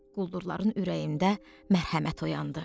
Quldurların ürəyində mərhəmət oyandı.